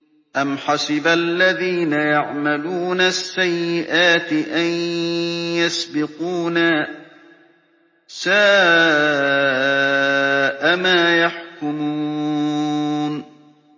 أَمْ حَسِبَ الَّذِينَ يَعْمَلُونَ السَّيِّئَاتِ أَن يَسْبِقُونَا ۚ سَاءَ مَا يَحْكُمُونَ